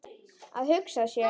Að hugsa sér.